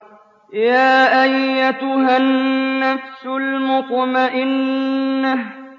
يَا أَيَّتُهَا النَّفْسُ الْمُطْمَئِنَّةُ